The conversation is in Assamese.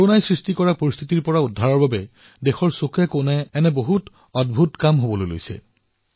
কৰোনাই যি পৰিস্থিতিৰ সৃষ্টি কৰিলে তাৰ বিপৰীতে দেশৰ বিভিন্ন প্ৰান্তত এনে বহু অদ্ভুত কাম হৈছে